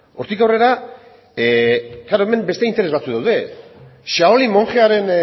hortik aurrera noski hemen beste interes batzuk daude shaolin monjearen